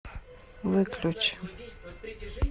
выключи